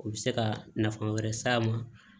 U bɛ se ka nafa wɛrɛ s'a ma